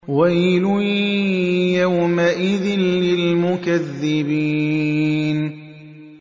وَيْلٌ يَوْمَئِذٍ لِّلْمُكَذِّبِينَ